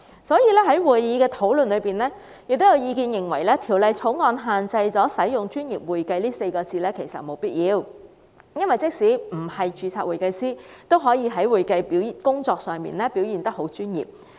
所以，法案委員會進行討論時，亦有意見認為《條例草案》沒有必要限制使用"專業會計"這稱謂，因為即使不是註冊會計師，也可以在會計工作上表現得很專業。